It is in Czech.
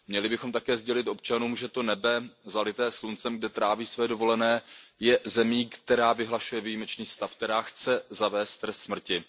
Měli bychom také sdělit občanům, že to nebe zalité sluncem, kde tráví své dovolené, je zemí, která vyhlašuje výjimečný stav, která chce zavést trest smrti.